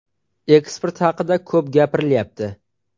Eksport haqida ko‘p gapirilyapti.